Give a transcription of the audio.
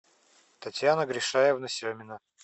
татьяна гришаевна семина